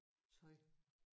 Tøj